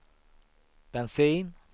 bensin